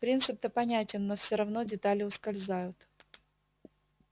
принцип-то понятен но все равно детали ускользают